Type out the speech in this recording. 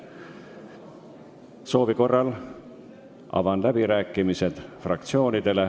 Kõnesoovide korral avan fraktsioonide läbirääkimised.